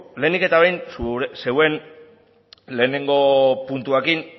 lehenik eta behin zuen lehengo puntuarekin